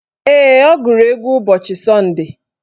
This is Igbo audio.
Ee, ọ gụrụ egwu ụbọchị sọnde